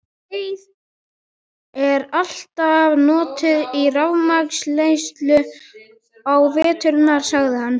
Greyið er alltaf notuð í rafmagnsleysinu á veturna sagði hann.